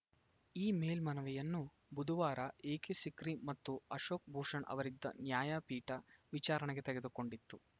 ಈ ಮೇಲ್ಮನವಿಯನ್ನು ಬುಧವಾರ ಎಕೆಸಿಕ್ರಿ ಮತ್ತು ಅಶೋಕ್‌ ಭೂಷಣ್‌ ಅವರಿದ್ದ ನ್ಯಾಯಪೀಠ ವಿಚಾರಣೆಗೆ ತೆಗೆದುಕೊಂಡಿತ್ತು